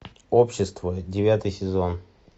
общество девятый сезон